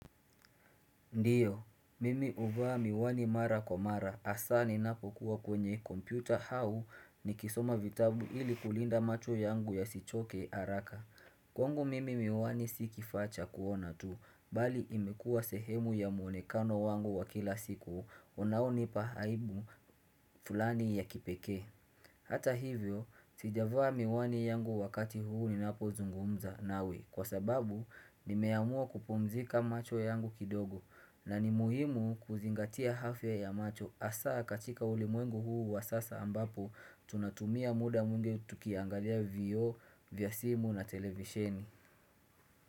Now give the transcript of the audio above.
Ndiyo, mimi uvaa miwani mara kwa mara, hasaa ninapo kuwa kwenye kompyuta au nikisoma vitabu ili kulinda macho yangu yasichoke haraka. Kwangu mimi miwani si kifaa cha kuona tu, bali imekua sehemu ya muonekano wangu wa kila siku, unao nipa aibu fulani ya kipekee. Hata hivyo, sijavaa miwani yangu wakati huu ninapozungumza nawe kwa sababu nimeamua kupumzika macho yangu kidogo na ni muhimu kuzingatia afya ya macho asaa katika ulimwengu huu wa sasa ambapo tunatumia muda mwingi tukiangalia vio vya simu na televisheni.